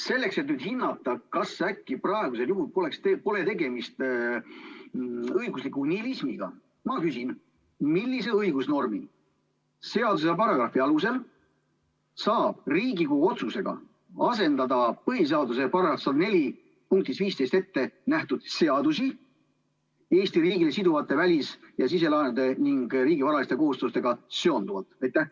Selleks, et hinnata, kas äkki praegusel juhul pole tegemist õigusliku nihilismiga, ma küsin: millise õigusnormi, seaduse ja paragrahvi alusel saab Riigikogu otsusega asendada põhiseaduse § 104 punktis 15 ette nähtud seadusi Eesti riigile siduvate välis- ja siselaenude ning riigi varaliste kohustustega seonduvalt?